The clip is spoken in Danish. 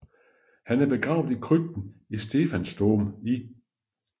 Han er begravet i krypten i Stephansdom i